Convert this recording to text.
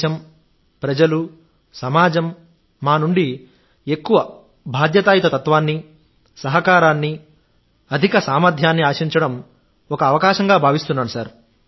దేశం ప్రజలు సమాజం మా నుండి ఎక్కువ బాధ్యతాయుత తత్వాన్ని సహకారాన్ని అధిక సామర్థ్యాన్ని ఆశించడం ఒక అవకాశంగా భావిస్తున్నాను